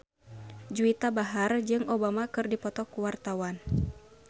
Juwita Bahar jeung Obama keur dipoto ku wartawan